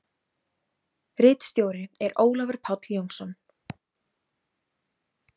Ritstjóri er Ólafur Páll Jónsson.